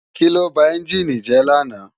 Kiló bá ènjini jè làná?